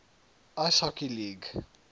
ice hockey league